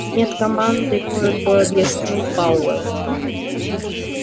нет команды коротко объяснил пауэлл